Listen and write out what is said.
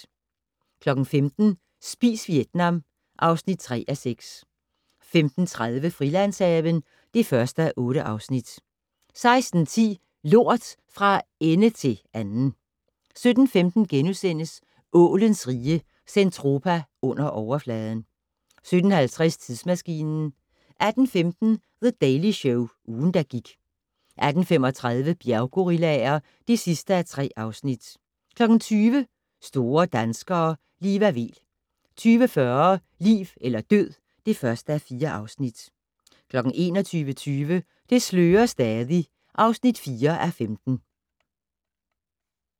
15:00: Spis Vietnam (3:6) 15:30: Frilandshaven (1:8) 16:10: Lort - fra ende til anden 17:15: Ålens Rige - Zentropa Under Overfladen * 17:50: Tidsmaskinen 18:15: The Daily Show - ugen, der gik 18:35: Bjerggorillaer (3:3) 20:00: Store danskere - Liva Weel 20:40: Liv eller død (1:4) 21:20: Det slører stadig (4:15)